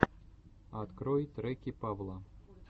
открой треки павла